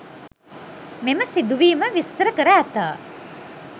මෙම සිදුවීම විස්තර කර ඇත.